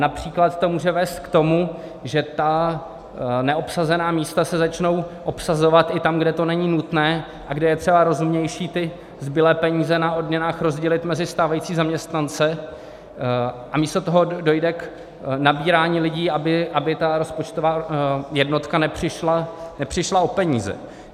Například to může vést k tomu, že ta neobsazená místa se začnou obsazovat i tam, kde to není nutné a kde je třeba rozumnější ty zbylé peníze na odměnách rozdělit mezi stávající zaměstnance, a místo toho dojde k nabírání lidí, aby ta rozpočtová jednotka nepřišla o peníze.